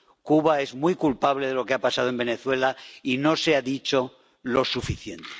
Cuba es muy culpable de lo que ha pasado en Venezuela, y no se ha dicho lo suficiente.